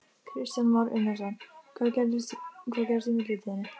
Í það minnsta var hefndarlöngun mín horfin.